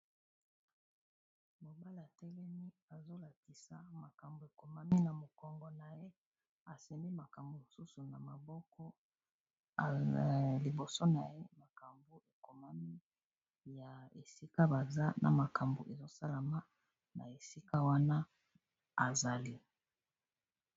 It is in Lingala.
Mobala telemi azolakisa makambo ekomami na mokongo na ye asembi makambo mosusu na maboko liboso na ye makambo ekomami ya esika baza na makambo ezosalama na esika wana azali.